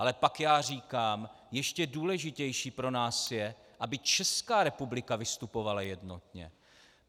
Ale pak já říkám, ještě důležitější pro nás je, aby Česká republika vystupovala jednotně.